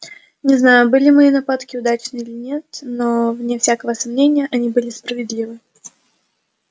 не знаю были мои нападки удачны или нет но вне всякого сомнения они были справедливы